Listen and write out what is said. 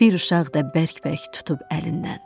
Bir uşaq da bərk-bərk tutub əlindən.